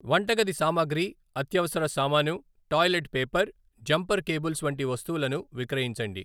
వంటగది సామాగ్రి, అత్యవసర సామాను, టాయిలెట్ పేపర్, జంపర్ కేబుల్స్ వంటి వస్తువులను విక్రయించండి.